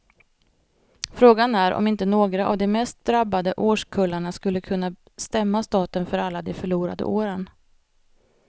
Frågan är om inte några av de mest drabbade årskullarna skulle kunna stämma staten för alla de förlorade åren.